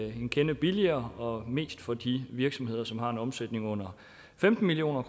en kende billigere og mest for de virksomheder som har en omsætning under femten million